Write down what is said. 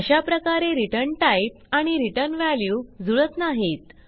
अशाप्रकारे return type आणि return value जुळत नाहीत